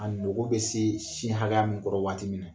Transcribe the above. A nogo bɛ se sin hakɛya min kɔrɔ waati minna.